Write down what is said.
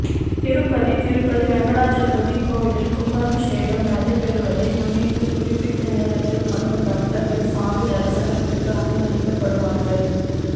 திருப்பதிதிருப்பதி வெங்கடாஜலபதி கோயிலில் கும்பாபிஷேகம் நடைபெறுவதை முன்னிட்டு குறிப்பிட்ட நேரத்தில் மட்டும் பக்தர்கள் சாமி தரிசனத்திற்கு அனுமதிக்கப்படுவார்கள்